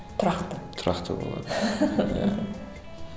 тұрақты тұрақты болады